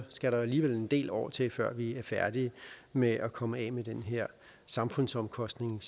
skal der alligevel en del år til før vi er færdige med at komme af med den her samfundsomkostning